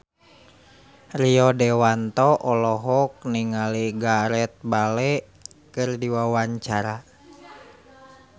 Rio Dewanto olohok ningali Gareth Bale keur diwawancara